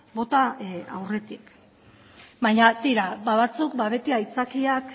bota aurretik baina tira batzuk beti aitzakiak